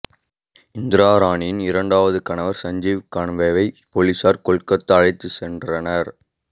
இந்திராணியின் இரண்டாவது கணவர் சஞ்சீவ் கன்னாவை போலீசார் கொல்கத்தா அழைத்துச் சென்றனர்